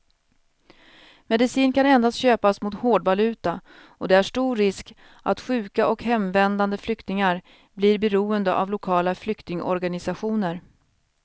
Medicin kan endast köpas mot hårdvaluta och det är stor risk att sjuka och hemvändande flyktingar blir beroende av lokala flyktingorganisationer.